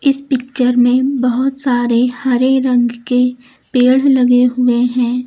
इस पिक्चर में बहुत सारे हरे रंग के पेड़ लगे हुए हैं।